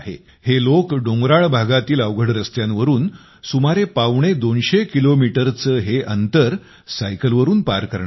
हे लोक डोंगराळ भागातील अवघड रस्त्यांवरून सुमारे पावणेदोनशे किलोमीटरचे हे अंतर सायकलवरून पार करणार आहेत